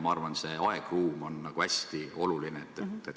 Ma arvan, et see aegruum on hästi oluline.